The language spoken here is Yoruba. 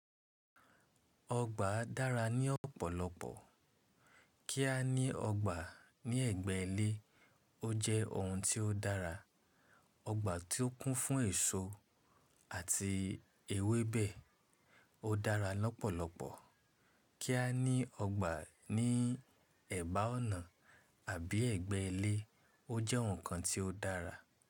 Ọgbà dára ní ọ̀pọ̀lọpọ̀. Kí a ní ọgbà ní ẹ̀gbẹ́ ilé, ó jẹ́ oun tí ó dára. Ọgbà tí ó kún fún èso àti ewébẹ̀, ó dára lọ́pọ̀lọpọ̀. Kí a ní ọgbà ní ẹ̀bá ọ̀nà àbí ẹgbẹ́ ilé, ó jẹ́ ǹkan tí ó dára.